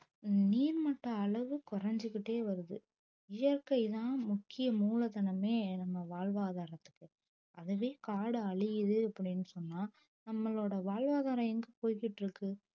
நீர்மட்ட அளவு குறைஞ்சுக்கிட்டே வருது இயற்கைதான் முக்கிய மூலதனமே நம்ம வாழ்வாதாரத்துக்கு அதுவே காடு அழியுது அப்படின்னு சொன்னா நம்மளோட வாழ்வாதாரம் எங்க போய்கிட்டு இருக்கு